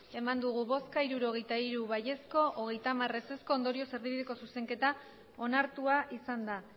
bai hirurogeita hiru ez hamar ondorioz erdibideko zuzenketa onartua izan da